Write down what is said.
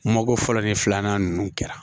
Mago fɔlɔ ni filanan ninnu kɛra